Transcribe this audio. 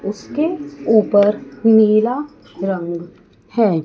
उसके ऊपर नीला रंग है।